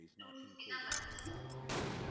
two fifty தான் வருது